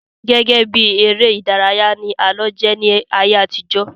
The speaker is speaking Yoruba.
Gẹ́gẹ́bí ère ìdárayá ni àálọ́ jẹ́ ní ayé àtijọ́